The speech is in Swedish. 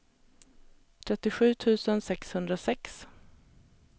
trettiosju tusen sexhundrasex